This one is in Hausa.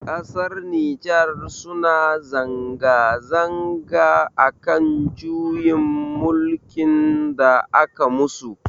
Ƙasar Nijar suna zanga zanga akan juyin mulkin da aka musu.